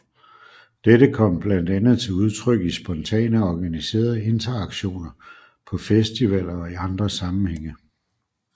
Dette kom blandt andet til udtryk i spontane og organiserede interaktioner på festivaler og i andre sammenhænge